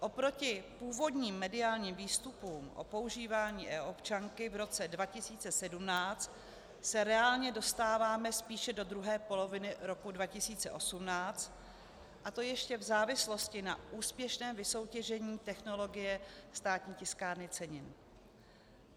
Oproti původním mediálním výstupům o používání e-občanky v roce 2017 se reálně dostáváme spíše do druhé poloviny roku 2018, a to ještě v závislosti na úspěšném vysoutěžení technologie Státní tiskárny cenin.